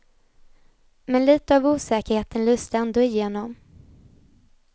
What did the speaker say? Men lite av osäkerheten lyste ändå igenom.